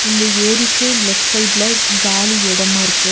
இந்த ஏரிக்கு லெஃப்ட் சைட்ல காலி இடமா இருக்கு.